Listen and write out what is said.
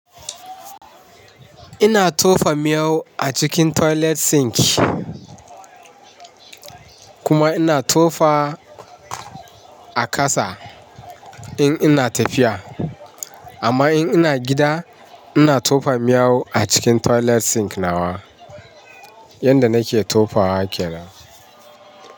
Ina tofa miyau a cikin toilet sink kuma ina tofa a ƙasa, in ina tafiya. Amma in ina gida, ina tofa miyau a cikin toilet sink nawa, yanda nake tofawa kenan.